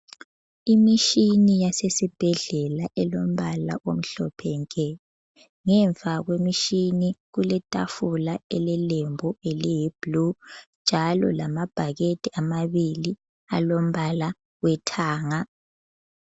Imitshini yasesibhedlela elombala omhlophe nke, ngemva kwemitshini kule tafula elelembu eliyi bhulu njalo lamabhakede amabili alombala wethanga.